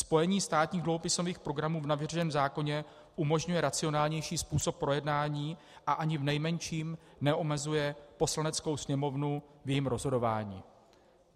Spojení státních dluhopisových programů v navrženém zákoně umožňuje racionálnější způsob projednání a ani v nejmenším neomezuje Poslaneckou sněmovnu v jejím rozhodování.